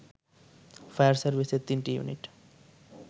fire সার্ভিসের ৩টি unit